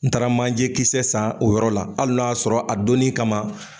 N taara manje kisɛ san o yɔrɔ la hali n'a y'a sɔrɔ a donni kama